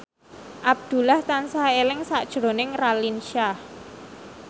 Abdullah tansah eling sakjroning Raline Shah